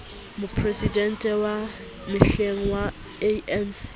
moporesidente wa mehleng wa anc